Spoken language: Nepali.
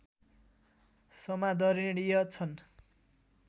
समादरणीय छन्